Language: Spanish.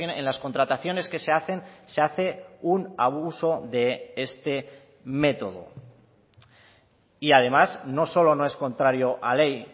en las contrataciones que se hacen se hace un abuso de este método y además no solo no es contrario a ley